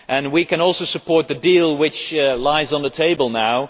My group can also support the deal which is on the table now.